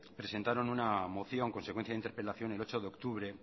presentaron una moción consecuencia de interpelación el ocho de octubre